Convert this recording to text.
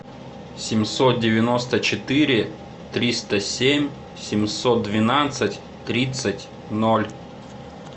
семьсот девяносто четыре триста семь семьсот двенадцать тридцать ноль